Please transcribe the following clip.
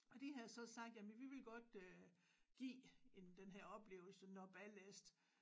Og de havde så sagt jamen vi vil godt øh give en den her oplevelse når ballast